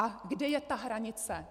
A kde je ta hranice?